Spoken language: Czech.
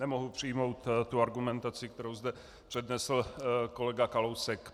Nemohu přijmout tu argumentaci, kterou zde přednesl kolega Kalousek.